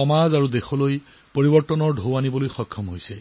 সমাজত দেশত পৰিৱৰ্তন আনিছে